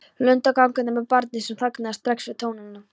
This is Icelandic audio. Lund gangandi með barnið sem þagnaði strax við tónana.